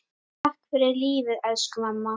Takk fyrir lífið, elsku mamma.